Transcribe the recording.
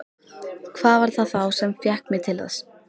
Hvað var það þá sem fékk mig til þess?